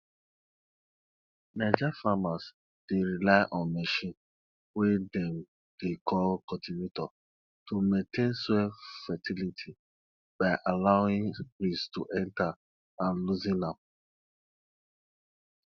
naija farmers dey rely on machine wey dem dey call cultivator to maintain soil fertility by allowing breeze to enter and loosen am